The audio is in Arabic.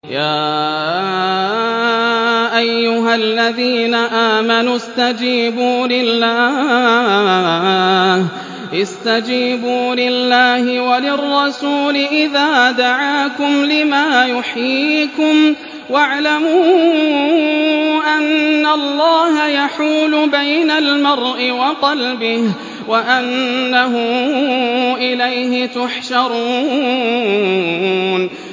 يَا أَيُّهَا الَّذِينَ آمَنُوا اسْتَجِيبُوا لِلَّهِ وَلِلرَّسُولِ إِذَا دَعَاكُمْ لِمَا يُحْيِيكُمْ ۖ وَاعْلَمُوا أَنَّ اللَّهَ يَحُولُ بَيْنَ الْمَرْءِ وَقَلْبِهِ وَأَنَّهُ إِلَيْهِ تُحْشَرُونَ